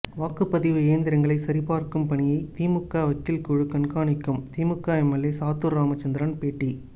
வாக்குப்பதிவு இயந்திரங்களை சரிபார்க்கும் பணியை திமுக வக்கீல் குழு கண்காணிக்கும் திமுக எம்எல்ஏ சாத்தூர் ராமச்சந்திரன் பேட்டி